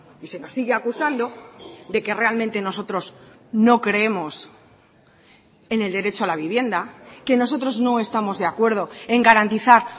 y se nos sigue acusando de que realmente nosotros no creemos en el derecho a la vivienda que nosotros no estamos de acuerdo en garantizar